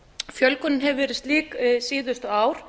fjölgunin hefur verið slíkt síðustu ár